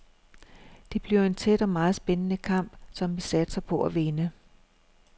Det bliver en tæt og meget spændende kamp, som vi satser på at vinde.